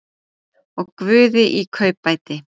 Og guði í kaupbæti.